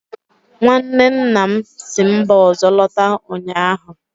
nwanne nna m si mba ọzọ lọta ụnyahụ